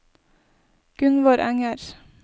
Gunvor Enger